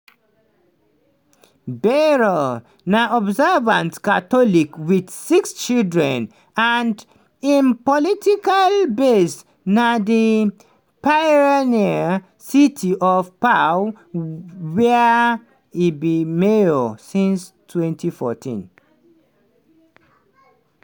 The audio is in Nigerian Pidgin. bayrou na observant catholic wit six children and im political base na di pyrenean city of pau wia e bin mayor since 2014.